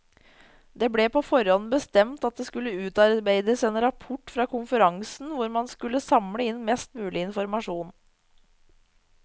Det ble på forhånd bestemt at det skulle utarbeides en rapport fra konferansen hvor man skulle samle inn mest mulig informasjon.